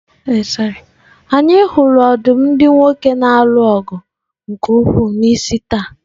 Anyị hụrụ ọdụm ndị nwoke na-alụ ọgụ nke ukwuu n'isi taa.